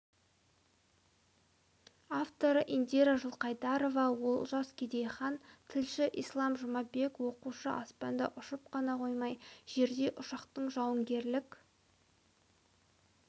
авторы индира жылқайдарова олжас керейхан тілші ислам жұмабек оқушы аспанда ұшып қана қоймай жерде ұшақтың жауынгерлік